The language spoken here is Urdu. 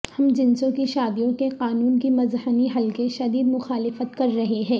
ہم جنسوں کی شادیوں کے قانون کی مذہنی حلقے شدید مخالفت کر رہے ہیں